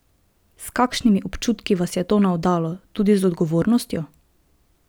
S kakšnimi občutki vas je to navdalo, tudi z odgovornostjo?